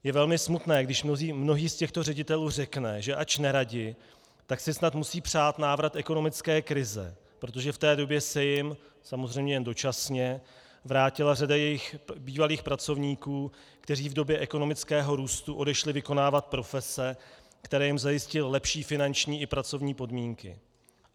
Je velmi smutné, když mnohý z těchto ředitelů řekne, že ač neradi, tak si snad musí přát návrat ekonomické krize, protože v té době se jim, samozřejmě jen dočasně, vrátila řada jejich bývalých pracovníků, kteří v době ekonomického růstu odešli vykonávat profese, které jim zajistily lepší finanční i pracovní podmínky.